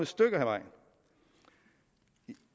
stykke ad vejen